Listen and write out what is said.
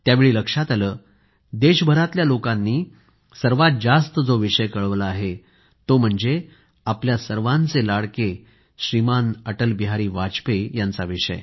त्यावेळी लक्षात आलं देशभरातल्या लोकांनी सर्वात जास्त जो विषय कळवला आहे तो म्हणजे आपल्या सर्वांचे लाडके श्रीमान अटल बिहारी वाजपेयी यांचा विषय